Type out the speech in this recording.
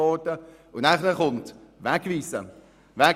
Erst danach folgt die Wegweisung.